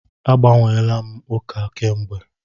Agbanweela m ụka kamgbe.